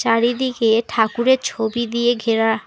চারিদিকে ঠাকুরের ছবি দিয়ে ঘেরা।